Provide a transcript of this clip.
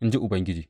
In ji Ubangiji.